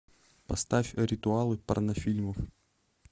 поставь ритуалы порнофильмов